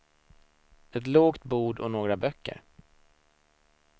Ett lågt bord och några böcker.